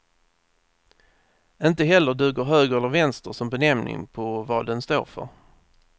Inte heller duger höger eller vänster som benämning på vad den står för.